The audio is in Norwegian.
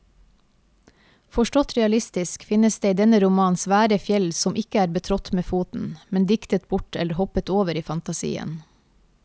Forstått realistisk finnes det i denne romanen svære fjell som ikke er betrådt med foten, men diktet bort eller hoppet over i fantasien.